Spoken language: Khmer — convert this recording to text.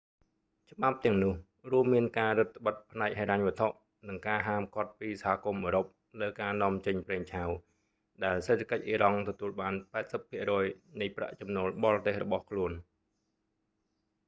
ច្បាប់ទាំងនោះ រួមមានការរឹតត្បិតផ្នែកហិរញ្ញវត្ថុ និងការហាមឃាត់ពីសហគមន៍អ៊ឺរ៉ុបលើការនាំចេញប្រេងឆៅ ដែលសេដ្ឋកិច្ចអ៊ីរ៉ង់ទទួលបាន 80% នៃប្រាក់ចំណូលបរទេសរបស់ខ្លួន